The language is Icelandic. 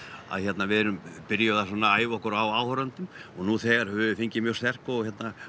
að við erum byrjuð að æfa okkur á áhorfendum nú þegar höfum við fengið mjög sterk og